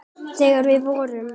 Þegar við vorum.